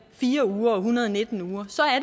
fire uger og en hundrede og nitten uger